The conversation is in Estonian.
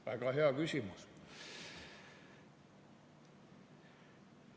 Väga hea küsimus.